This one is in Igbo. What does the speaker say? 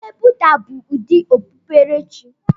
Okpukpe Buddha bụ ụdị okpukpere chi.